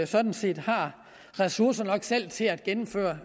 sådan set har ressourcer nok selv til at gennemføre